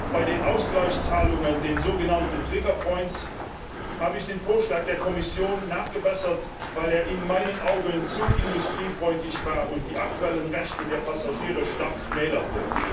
Bei den Ausgleichszahlungen, den sogenannten trigger points habe ich den Vorschlag der Kommission nachgebessert, weil er in meinen Augen zu industriefreundlich war und die aktuellen Rechte der Passagiere stark schmälerte.